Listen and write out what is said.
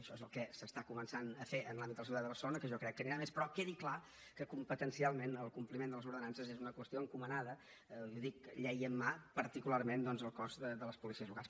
això és el que s’està començant a fer en l’àmbit de la seguretat a barcelona que jo crec que anirà a més però quedi clar que competencialment el compliment de les ordenances és una qüestió encomanada i ho dic llei en mà particularment doncs al cos de les policies locals